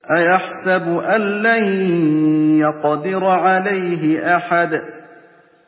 أَيَحْسَبُ أَن لَّن يَقْدِرَ عَلَيْهِ أَحَدٌ